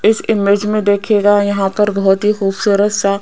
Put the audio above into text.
इस इमेज में देखिएगा यहां पर बहुत ही खूबसूरत सा--